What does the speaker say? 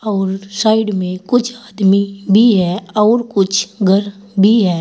और साइड में कुछ आदमी भी है और कुछ घर भी है।